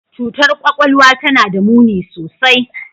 Cutar kwakwalwa tana da muni sosai.